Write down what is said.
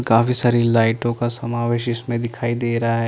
काफी सारी लाइटो का समावेश दिखाई दे रहा है ।